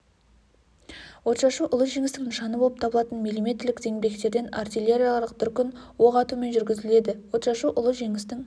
отшашу ұлы жеңістің нышаны болып табылатын миллиметрлік зеңбіректерден артиллериялық дүркін оқ атумен жүргізіледі отшашу ұлы жеңістің